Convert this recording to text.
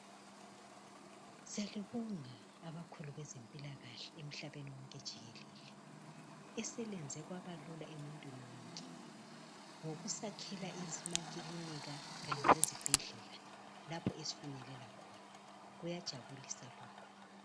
Siyababonga abakhulu bezempilakahle emhlabeni wonke jikelele eselenze kwabalula emuntwini wonke ngokusakhela amakilinika kanye lezibhedlela lapho esifinyelela khona, kuyajabulisa lokhu.